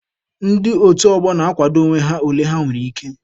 Ndị otu ọgbọ na-akwado onwe ha ole ha nwere ike.